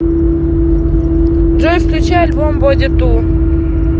джой включи альбом боди ту